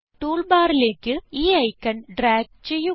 tool ബാറിലേക്ക് ഈ icon drag ചെയ്യുക